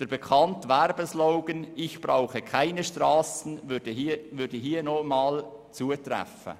Der bekannte Werbe-Slogan «Ich brauche keine Strassen», würde hier wirklich zutreffen.